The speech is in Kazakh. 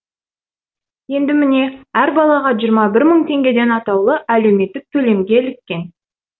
енді міне әр балаға жиырма мың теңгеден атаулы әлеуметтік төлемге іліккен